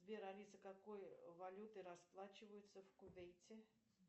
сбер алиса какой валютой расплачиваются в кувейте